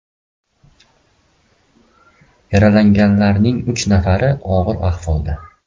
Yaralanganlarning uch nafari og‘ir ahvolda.